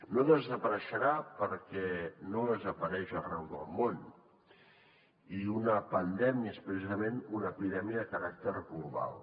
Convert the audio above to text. no desapareixerà perquè no desapareix arreu del món i una pandèmia és precisament una epidèmia de caràcter global